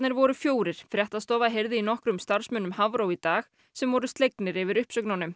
voru fjórir fréttastofa heyrði í nokkrum starfsmönnum Hafró í dag sem voru slegnir yfir uppsögnunum